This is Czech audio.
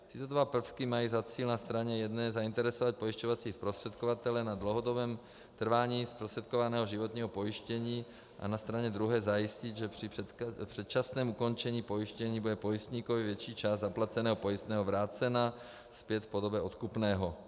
Tyto dva prvky mají za cíl na straně jedné zainteresovat pojišťovací zprostředkovatele na dlouhodobém trvání zprostředkovaného životního pojištění a na straně druhé zajistit, že při předčasném ukončení pojištění bude pojistníkovi větší část zaplaceného pojistného vrácena zpět v podobě odkupného.